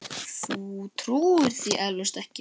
Þú trúir því eflaust ekki.